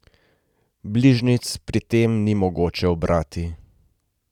Bližnjic pri tem ni mogoče ubirati.